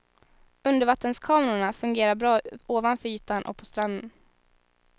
Undervattenskamerorna fungerar bra ovanför ytan och på stranden.